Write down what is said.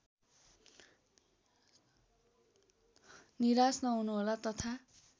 निराश नहुनुहोला तथा